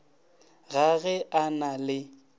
ga ge a na le